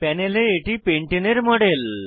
প্যানেলে এটি পেন্টানে পেন্টেন এর মডেল